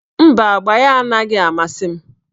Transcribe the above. Mba, agba ya anaghị amasị m